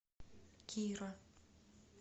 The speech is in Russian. кира